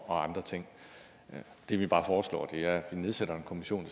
og andre ting det vi bare foreslår er at vi nedsætter en kommission